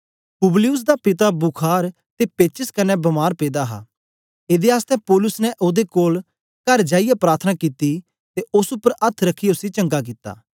पुबलीयुस दा पिता बुखार ते पेचस कन्ने बमार पेदा हा एदे आसतै पौलुस ने ओदे कोल कर जाईयै प्रार्थना कित्ती ते ओस उपर अथ्थ रखियै उसी चंगा कित्ता